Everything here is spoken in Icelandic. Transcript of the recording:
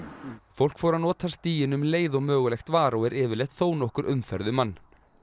fólk fór að nota stíginn um leið og mögulegt var og er yfirleitt þó nokkur umferð um hann